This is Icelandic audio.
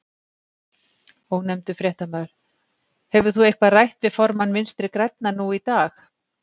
Ónefndur fréttamaður: Hefur þú eitthvað rætt við formann Vinstri-grænna nú í dag?